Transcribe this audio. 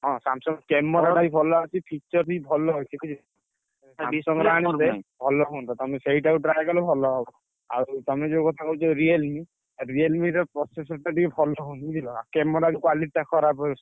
ହଁ Samsung camera ଗୁଡା ବି ଭଲ ଅଛି। feature ବି ଭଲ ଅଛି ବୁଝିଲ। ଭଲ ହୁଅନ୍ତା ତମେ ସେଇଟାକୁ try କଲେ ଭଲ ହବ। ଆଉ ତମେ ଯୋଉ କଥା କହୁଛ Realme Realme ର processor ଟା ଟିକେ ଭଲ ହଉନି ବୁଝିଲନା। camera ବି quality ଟା ଖରାପ ଆସୁଛି।